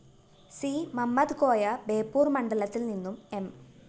C Mammadkoya Beypore‍ മണ്ഡലത്തില്‍ നിന്നും M